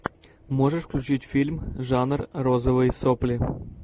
можешь включить фильм жанр розовые сопли